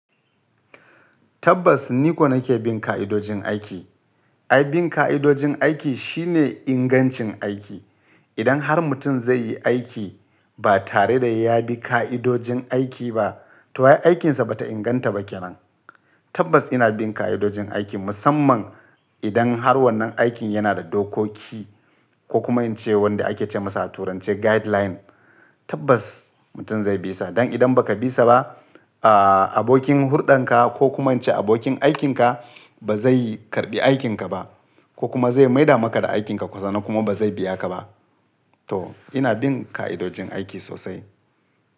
Tabbas ni ko nake bin ka'idojin aiki. Ai bin ka'idojin aiki shine ingancin aiki. Idan har mutum zai yi aiki ba tare da ya bi ka'idojin aiki ba, to ai aikinsa bata inganta ba ke nan. Tabbas ina bin ka'idojin aiki musamman idan har wannan aikin yana da dokoki ko kuma in ce wanda ake ce masa a turanci guideline. Tabbas mutum zai bisa. Dan idan ba ka bisa ba, ah abokin hulɗanka ko kuma in ce abokin aikinka ba zai karɓi aikinka ba ko kuma zai maida maka da aikinka sannan kuma ba zai biya ka ba. To ina bin ka'idojin aiki sosai.